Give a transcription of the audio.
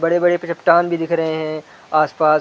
बड़े-बड़े प चट्टान भी दिख रहे है आस पास--